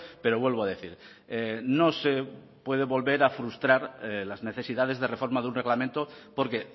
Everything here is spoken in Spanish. pero vuelvo a decir no se puede volver a frustrar las necesidades de reforma de un reglamento porque